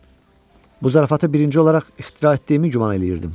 Bu zarafatı birinci olaraq ixtira etdiyimi güman eləyirdim.